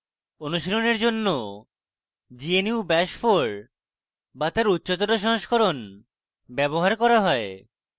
অনুশীলনের জন্য gnu bash 4 bash তার উচ্চতর সংস্করণ ব্যবহার করা হয়